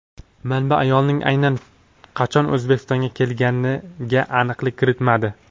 Manba ayolning aynan qachon O‘zbekistonga kelganiga aniqlik kiritmadi.